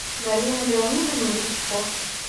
галину леонидовну гречко